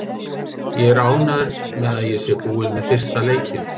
Ég er ánægður með að ég sé búinn með fyrsta leikinn.